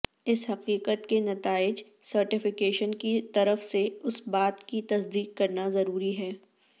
اس حقیقت کے نتائج سرٹیفیکیشن کی طرف سے اس بات کی تصدیق کرنا ضروری ہے